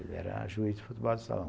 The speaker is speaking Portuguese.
Ele era juiz de futebol de salão.